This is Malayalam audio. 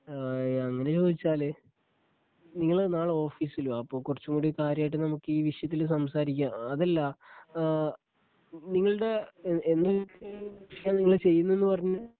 ആ അങ്ങനെ ചോദിച്ചാല് നിങ്ങള് നാളെ ഓഫീസില് വാ അപ്പം കുറച്ചുകൂടി കാര്യമായിട്ട് നമുക്ക് ഈ വിഷയത്തില് സംസാരിക്കാം അതല്ല ഏഹ് നിങ്ങളുടെ ഏ എന്തൊക്കെ കൃഷിയ നിങ്ങള് ചെയ്യുന്നേന്ന് പറഞ്ഞേ?